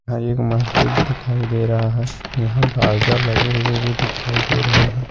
यहां एक मस्जिद दिखाई दे रहा है यहां बारजा लगे हुए भी दिखाई दे रहे हैं।